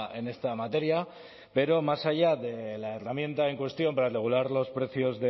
en esta materia pero más allá de la herramienta en cuestión para regular los precios